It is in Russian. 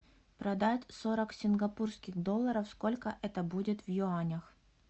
продать сорок сингапурских долларов сколько это будет в юанях